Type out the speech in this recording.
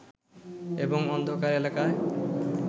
এবং অন্ধকার এলাকায়